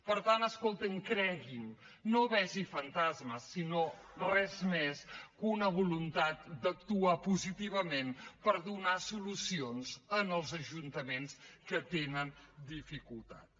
per tant escolti’m cregui’m no vegi fantasmes sinó res més que una voluntat d’actuar positivament per donar solucions als ajuntaments que tenen dificultats